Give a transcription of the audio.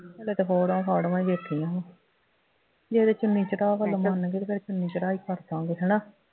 ਹਾਲੇ ਤਾਂ ਫੋਟੋਆਂ ਫਾਟਵਾਂ ਹੀ ਵੇਖੀਆਂ ਸੀ, ਜਿਹੜੇ ਚੁੰਨੀ ਚੜਾਅ ਵੱਲੋਂ ਮੰਨਗੇ ਫੇਰ ਚੁੰਨੀ ਚੜਾਈ ਕਰ ਦਿਆਂਗੇ ਹੈ ਨਾ